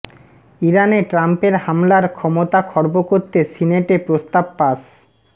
ইরানে ট্রাম্পের হামলার ক্ষমতা খর্ব করতে সিনেটে প্রস্তাব পাস